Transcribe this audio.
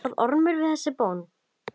Varð Ormur við þessari bón.